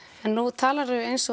nú talarðu eins